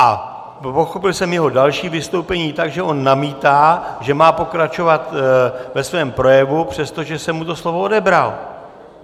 A pochopil jsem jeho další vystoupení tak, že on namítá, že má pokračovat ve svém projevu, přestože jsem mu to slovo odebral.